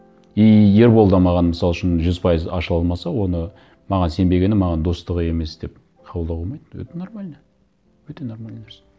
и ербол да маған мысал үшін жүз пайыз ашыла алмаса оны маған сенбегені маған достығы емес деп қабылдауға болмайды это нормально это нормальный нәрсе